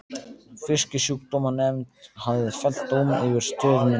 Fisksjúkdómanefnd hafði fellt dóm yfir stöð minni.